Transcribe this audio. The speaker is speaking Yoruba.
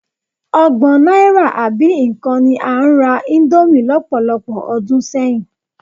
Ọgbọ̀n náírà àbí nǹkan ni a ń ra íńdómì lọ́pọ̀lọpọ̀ ọdún sẹ́yìn.